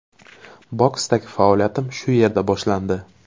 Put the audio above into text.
Boksdagi faoliyatim shu yerda boshlandi.